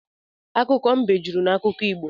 Akụkọ mbe jụrụ n’akụkọ Igbo